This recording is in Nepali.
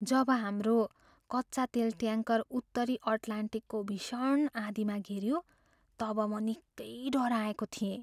जब हाम्रो कच्चा तेल ट्याङ्कर उत्तरी अटलान्टिकको भीषण आँधीमा घेरियो तब म निकै डराएको थिएँ।